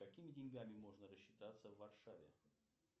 какими деньгами можно рассчитаться в варшаве